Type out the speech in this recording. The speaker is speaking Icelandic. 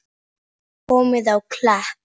Komið á Klepp?